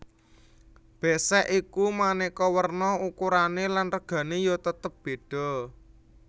Bésék iku manéka werna ukurané lan regané ya tetep bédha